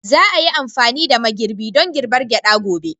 Za a yi amfani da mai girbi don girbar gyada gobe.